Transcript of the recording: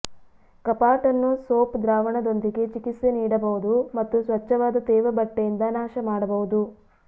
ಕಪಾಟನ್ನು soap ದ್ರಾವಣದೊಂದಿಗೆ ಚಿಕಿತ್ಸೆ ನೀಡಬಹುದು ಮತ್ತು ಸ್ವಚ್ಛವಾದ ತೇವ ಬಟ್ಟೆಯಿಂದ ನಾಶಮಾಡಬಹುದು